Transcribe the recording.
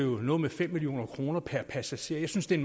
noget med fem million kroner per passager jeg synes det er